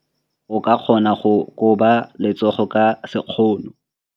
O ka kgona go koba letsogo ka sekgono.